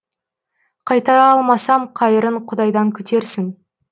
қайтара алмасам қайырын құдайдан күтерсің